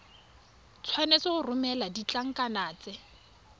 tshwanetse go romela ditlankana tse